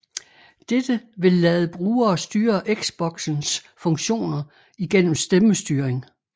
Dette vil lade brugere styre Xboxens funktioner igennem stemmestyring